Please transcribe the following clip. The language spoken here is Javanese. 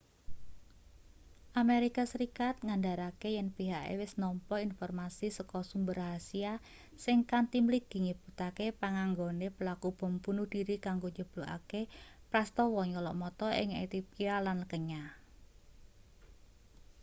amerika serikat ngandharake yen pihake wis nampa informasi saka sumber rahasya sing kanthi mligi nyebutake panganggone pelaku bom bunuh dhiri kanggo njeblukake prastawa nyolok mata ing ethiopia lan kenya